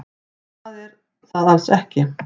Það er það alls ekki.